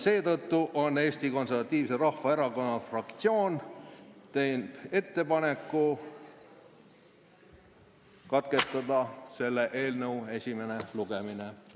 Seetõttu teeb Eesti Konservatiivse Rahvaerakonna fraktsioon ettepaneku katkestada selle eelnõu esimene lugemine.